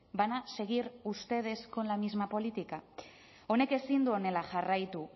van a seguir ustedes con la misma política honek ezin du honela jarraitu